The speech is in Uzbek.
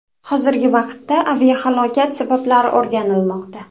Hozirgi vaqtda aviahalokat sabablari o‘rganilmoqda.